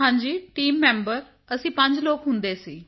ਹਾਂਜੀ team member ਅਸੀਂ 5 ਲੋਕ ਹੁੰਦੇ ਸੀ